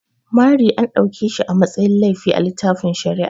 Mari an dauke shi a matsayin laifi a littafin shari'a.